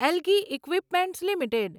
algae equipments limited